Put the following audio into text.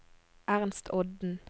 Ernst Odden